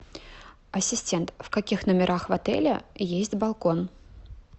ассистент в каких номерах в отеле есть балкон